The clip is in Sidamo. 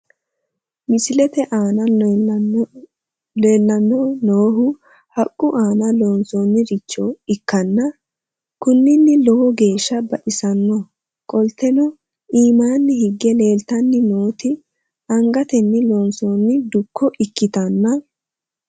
Misilete aana leellannoi noohu haqqu aana loonsoonniricho ikkanna kunino lowo geeshsha baxissano qolteno iimaanni higge leeltanni nooti angatenni loonsoonni dukko ikkitanna